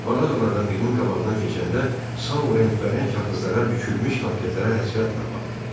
Mağazalardan birinin qabağından keçəndə Sau rəngbərəng kağızlara bükülmüş konfetlərə həsrətlə baxdı.